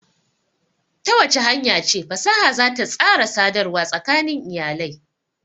Ta wace hanya ce fasaha za ta tsara sadarwa tsakanin iyalai?